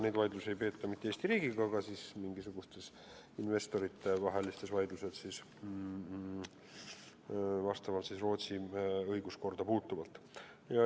Neid vaidlusi ei peeta mitte Eesti riigiga, vaid need on investorite vahelised vaidlused, mis vastavad Rootsi õiguskorrale.